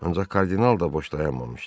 Ancaq kardinal da boş dayanmamışdı.